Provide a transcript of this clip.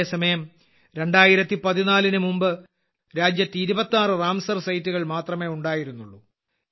അതേസമയം 2014ന് മുമ്പ് രാജ്യത്ത് 26 റാംസർ സൈറ്റുകൾ മാത്രമേ ഉണ്ടായിരുന്നുള്ളൂ